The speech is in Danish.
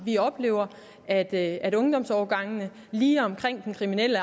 vi oplever at at ungdomsårgangene lige omkring den kriminelle